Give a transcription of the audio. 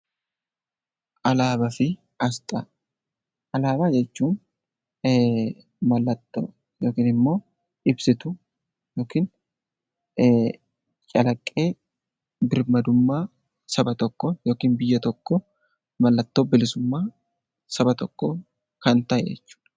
Alaabaa jechuun mallattoo yookaan immoo ibsituu yookiin calaqqee birmadummaa saba tokkoo yookiis biyya tokkoo mallattoo bilisummaa Saba tokkoo kan ta'e jechuudha